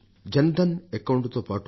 జన్ ధన్ అకౌంట్తో పాటు